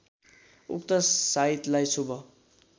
उक्त साइतलाई शुभ